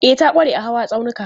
E, ta ƙware a hawa tsaunuka.